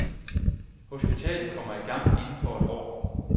Hospitalet kommer i gang inden for et år.